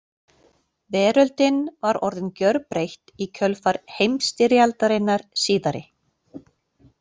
Veröldin var orðin gjörbreytt í kjölfar heimsstyrjaldarinnar síðari.